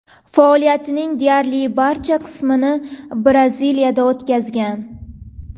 Faoliyatining deyarli barcha qismini Braziliyada o‘tkazgan.